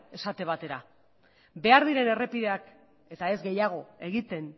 esate batera behar diren errepideak eta ez gehiago egiten